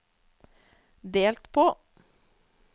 delt på